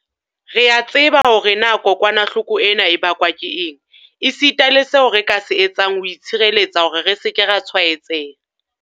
Re a tseba hore na kokwanahloko ena e bakwa ke eng, esita le seo re ka se etsang ho itshireletsa hore re se ke ra tshwaetseha.